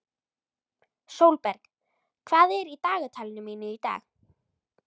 Sólberg, hvað er í dagatalinu mínu í dag?